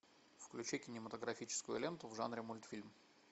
включи кинематографическую ленту в жанре мультфильм